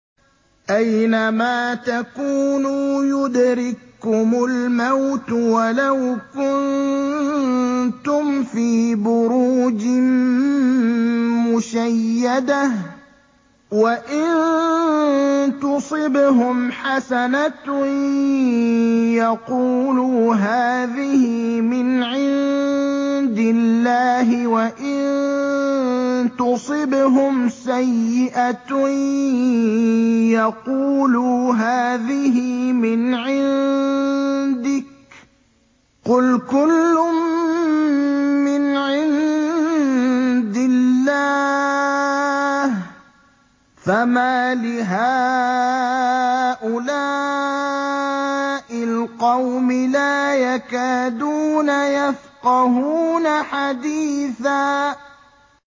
أَيْنَمَا تَكُونُوا يُدْرِككُّمُ الْمَوْتُ وَلَوْ كُنتُمْ فِي بُرُوجٍ مُّشَيَّدَةٍ ۗ وَإِن تُصِبْهُمْ حَسَنَةٌ يَقُولُوا هَٰذِهِ مِنْ عِندِ اللَّهِ ۖ وَإِن تُصِبْهُمْ سَيِّئَةٌ يَقُولُوا هَٰذِهِ مِنْ عِندِكَ ۚ قُلْ كُلٌّ مِّنْ عِندِ اللَّهِ ۖ فَمَالِ هَٰؤُلَاءِ الْقَوْمِ لَا يَكَادُونَ يَفْقَهُونَ حَدِيثًا